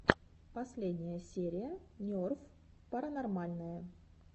последняя серия нерв паранормальное